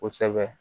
Kosɛbɛ